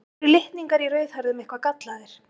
eru litningar í rauðhærðum eitthvað gallaðir